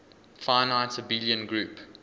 finite abelian group